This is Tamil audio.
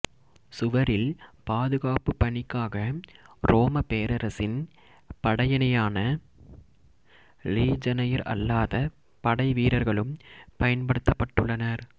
சுவரில் பாதுகாப்புப் பணிக்காக ரோமப் பேரரசின் படையணியான லீஜனயர் அல்லாத படைவீரர்களும் பயன்படுத்தப்பட்டுள்ளனர்